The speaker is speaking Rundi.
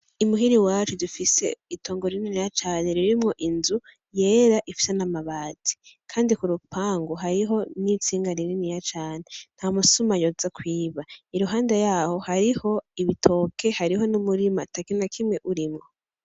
Imuhira iwacu dufise itongo rirniniya cane ririmwo inzu yera ifise n'amabati; kandi ku rupangu hariho n'intsinga rininiya cane ntamusuma yoza kwiba. Iruhande yaho hariho ibitoke, hariho n'umurima atakintu na kimwe urimwo.